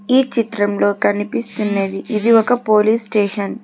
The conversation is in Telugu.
ఈ చిత్రంలో కనిపిస్తున్నది ఇది ఒక పోలీస్ స్టేషన్ .